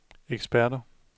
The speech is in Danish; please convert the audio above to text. eksperter